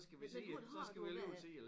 Men men hvordan har du det med det?